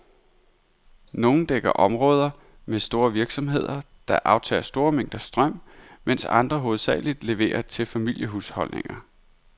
Nogle dækker områder med store virksomheder, der aftager store mængder strøm, mens andre hovedsageligt leverer til familiehusholdninger.